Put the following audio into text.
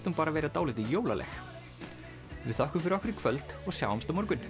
hún bara vera dálítið jólaleg við þökkum fyrir okkur í kvöld og sjáumst á morgun